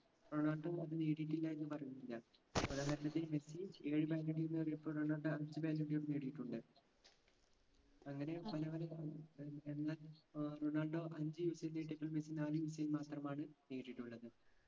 Ronaldo അത് നേടിയിട്ടില്ല എന്ന് പറഞ്ഞില്ല ഉദാഹരണത്തിന് മെസ്സി ഏഴ് ballon dor നേടിയപ്പോ റൊണാൾഡോ അഞ്ചു ballon dor നേടിയിട്ടുണ്ട് അങ്ങനെ പല പല ഏർ എന്നാൽ റൊണാൾഡോ അഞ്ച്‌ മെസ്സി നാല് മാത്രമാണ് നേടിയിട്ടുള്ളത്